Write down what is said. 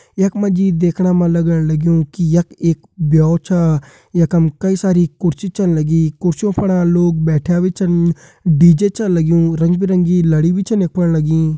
यख मा जी देखणा मा लगण लग्युं की यख एक ब्यो छा यखम कई सारी कुर्सी छन लगीं कुर्सियों फणा लोग बैठ्यां भी छन डी.जे छा लग्युं रंग बिरंगी लड़ी भी छन यफण लगीं।